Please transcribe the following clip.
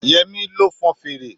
Yemi lo fon fèrè